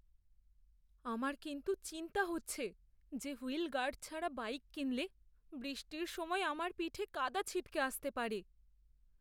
আমার কিন্তু চিন্তা হচ্ছে যে, হুইল গার্ড ছাড়া বাইক কিনলে বৃষ্টির সময় আমার পিঠে কাদা ছিটকে আসতে পারে।